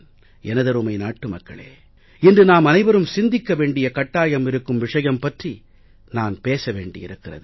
எனதருமை நாட்டு மக்களே இன்று நாமனைவரும் சிந்திக்க வேண்டிய கட்டாயம் இருக்கும் விஷயம் பற்றி நான் பேச வேண்டி இருக்கிறது